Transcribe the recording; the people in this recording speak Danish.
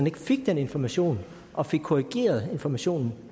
ikke fik den information og fik korrigeret informationen